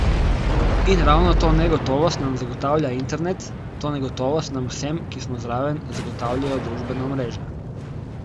In ravno to negotovost nam zagotavlja internet, to negotovost nam vsem, ki smo zraven, zagotavljajo družbena omrežja.